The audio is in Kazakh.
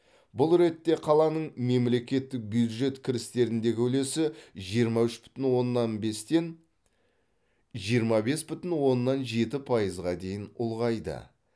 бұл ретте қаланың мемлекеттік бюджет кірістеріндегі үлесі жиырма үш бүтін оннан бестен жиырма бес бүтін оннан жеті пайызға дейін ұлғайды